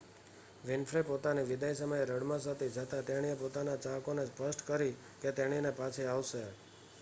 Winfrey પોતાની વિદાય સમયે રડમસ હતી છતાં તેણીએ પોતાના ચાહકો ને સ્પષ્ટતા કરી કે તેણીની પાછી આવશે